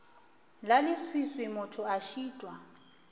la leswiswi motho a šitwa